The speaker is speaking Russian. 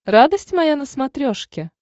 радость моя на смотрешке